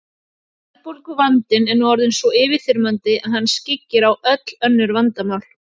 Verðbólguvandinn er nú orðinn svo yfirþyrmandi að hann skyggir á öll önnur vandamál.